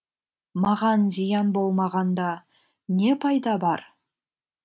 маған зиян болмағанда не пайда бар